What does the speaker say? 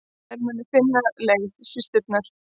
Þær muni finna leið, systurnar.